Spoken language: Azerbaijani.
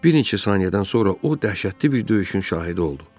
Bir neçə saniyədən sonra o dəhşətli bir döyüşün şahidi oldu.